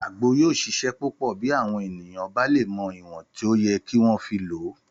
Àgbo yóò ṣiṣẹ́ púpọ̀ bí àwọn ènìyàn bá lè mọ ìwọ̀n tó yẹ kí wọ́n fi lò ó